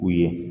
U ye